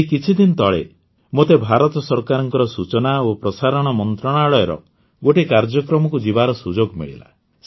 ଏହି କିଛିଦିନ ତଳେ ମୋତେ ଭାରତ ସରକାରଙ୍କ ସୂଚନା ଓ ପ୍ରସାରଣ ମନ୍ତ୍ରଣାଳୟର ଗୋଟିଏ କାର୍ଯ୍ୟକ୍ରମକୁ ଯିବାର ସୁଯୋଗ ମିଳିଲା